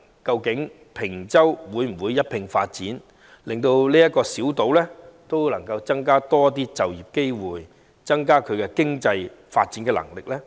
究竟坪洲會否一併發展，令這個小島有更多就業機會，提升其經濟發展能力呢？